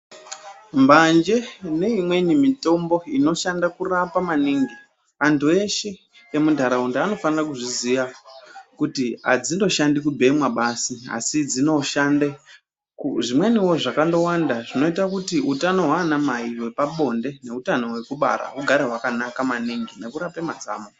Mbanje neimweni mitombo inoshanda kurapa maningi, antu eshe emuntaraunda vanofanire kuzviziya kuti adzindoshandi kubhemwa basi. Asi dzinoshande zvimweniwo zvakandowanda zvinoite kuti utano hwaanamai hwepabonde neutano hwekubara hugare hwakanaka maningi nekurape mazamo.